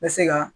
N bɛ se ka